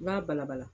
I b'a bala bala